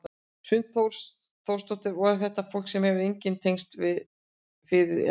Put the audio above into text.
Hrund Þórsdóttir: Og er þetta fólk sem þú hefur engin tengsl við fyrir eða?